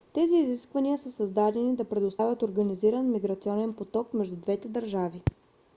тези изисквания са създаденида предоставят организиран миграционен поток между двете държави